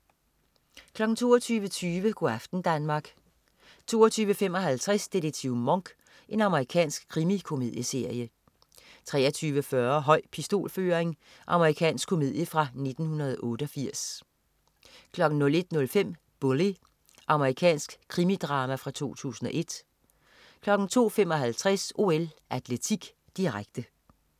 22.20 Go' aften Danmark 22.55 Detektiv Monk. Amerikansk krimikomedieserie 23.40 Høj pistolføring. Amerikansk komedie fra 1988 01.05 Bully. Amerikansk krimidrama fra 2001 02.55 OL: Atletik, direkte